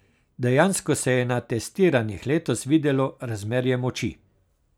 Dejansko se je na testiranjih letos videlo razmerje moči.